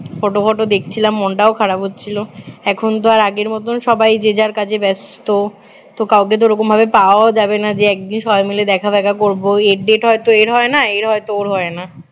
photo photo দেখছিলাম মনটাও খারাপ হচ্ছিল এখনতো আর আগের মতন সবই যে যার কাজে ব্যস্ত তো কাউকে তো ওরকমভাবে পাওয়াও যাবে না যে একদিন সবাই মিলে দেখা ফেখা করব এর date হয় তো এর হয় না এর হয় তো ওর হয় না